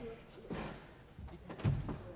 nej det